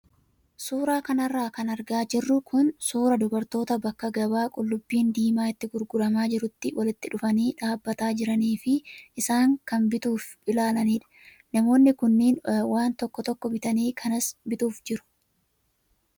Suuraa kanarra kan argaa jirru kun suuraa dubartoota bakka gabaa qullubbiin diimaa itti gurguramaa jirutti walitti dhufanii dhaabbataa jiranii fi isaan kaan bituuf ilaalanidha. Namoonni kunneen waan tokko tokko bitanii kanas bituuf jiru.